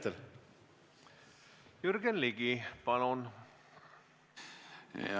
Jürgen Ligi, palun!